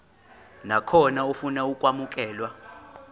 nakhona ofuna ukwamukelwa